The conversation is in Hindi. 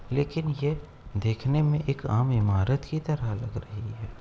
लेकिन ये देखने में एक आम इमारत की तरह लग रही है।